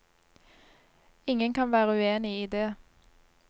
Ingen kan være uenig i det.